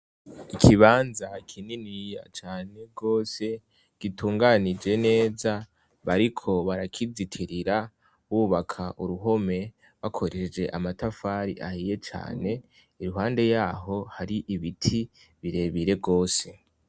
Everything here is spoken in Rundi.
Ikibanza kinini cane gose gitunganije neza, bariko barakizitirira bubaka uruhome bakoresheje amatafari ahiye cane, iruhande yaho hari ibiti birebire gose.